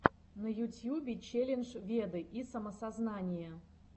на ютьюбе челлендж веды и самоосознание